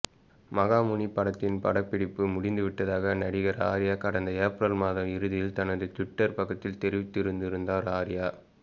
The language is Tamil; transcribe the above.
மகாமுனி படத்தின் படப்பிடிப்பு முடிந்துவிட்டதாக நடிகர் ஆர்யா கடந்த ஏப்ரல் மாத இறுதியில் தனது ட்விட்டர் பக்கத்தில் தெரிவித்திருந்தார் ஆர்யா